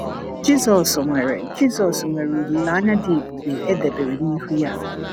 Jisọs nwere Jisọs nwere olileanya dị ebube e debere n’ihu ya